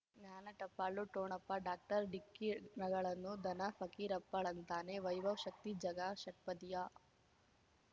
ಜ್ಞಾನ ಟಪಾಲು ಠೊಣಪ ಡಾಕ್ಟರ್ ಢಿಕ್ಕಿ ಣಗಳನು ಧನ ಫಕೀರಪ್ಪ ಳಂತಾನೆ ವೈಭವ್ ಶಕ್ತಿ ಝಗಾ ಷಟ್ಪದಿಯ